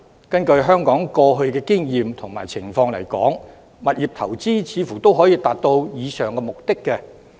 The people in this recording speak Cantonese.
根據香港過去的經驗和情況來說，物業投資似乎也可達到上述目的。